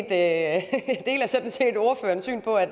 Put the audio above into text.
at